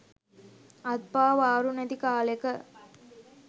අත්පා වාරු නැති කාලෙක